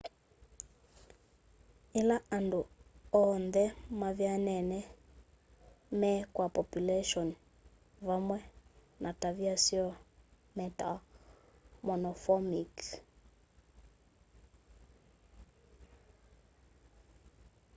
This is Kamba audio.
ila andu oonthe mavyanene me kwa populeshoni vamwe na tavia syoo metawa monomorphic